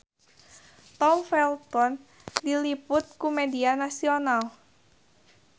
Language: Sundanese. Tom Felton diliput ku media nasional